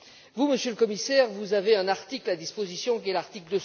Vous, Monsieur le Commissaire, vous avez un article à disposition, qui est l'article